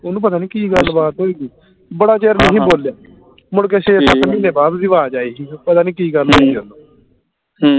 ਉਹਨੂੰ ਪਤਾ ਨੀ ਕੀ ਗੱਲ ਬਾਤ ਹੋਈ ਹੀ ਬੜਾ ਚਿਰ ਨੀ ਹੀ ਬੋਲਿਆ ਮੁੜਕੇ ਛੇ ਸੱਤ ਮਹੀਨੇ ਬਾਅਦ ਓਹਦੀ ਆਵਾਜ਼ ਆਈ ਹੀ ਪਤਾ ਨੀ ਕੀ ਗੱਲ ਹੋਈ ਉਹਨੂੰ